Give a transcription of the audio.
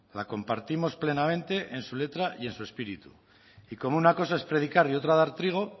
la compartimos plenamente en su letra y en su espíritu y como una cosa es predicar y otra dar trigo